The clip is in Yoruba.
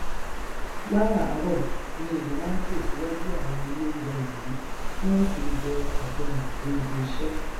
láràárọ ni èrò máa n tò síwájú àwọn ilé oúnjẹ wọnyìí tí wọn sì njẹ àjẹrìn dé ibiṣẹ